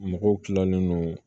Mɔgɔw kilalen no